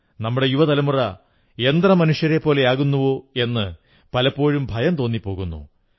നമ്മുടെ യുവതലമുറ യന്ത്രമനുഷ്യരെപ്പോലെയാകുന്നോ എന്ന് പലപ്പോഴും ഭയം തോന്നിപ്പോകുന്നു